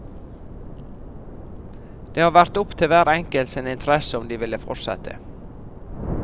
Det har vært opp til hver enkelt sin interesse, om de ville fortsette.